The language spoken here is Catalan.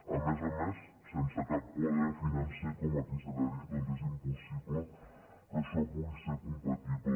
a més a més sense cap quadre financer com aquí se li ha dit doncs és impossible que això pugui ser compatible